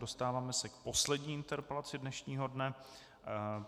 Dostáváme se k poslední interpelaci dnešního dne.